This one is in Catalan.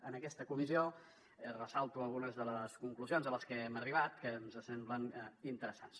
en aquesta comissió ressalto algunes de les conclusions a les que hem arribat que ens semblen interessants